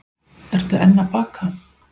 Eru enn að baka